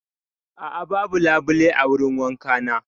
A'a, babu labule a wurin wankana.